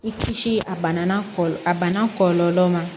I kisi a bana kɔ a bana kɔlɔlɔw ma